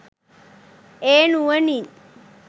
ඒ නුවණින්